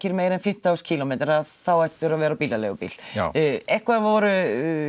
meira en fimmtán þúsund kílómetra þá ættirðu að vera á bílaleigubíl eitthvað voru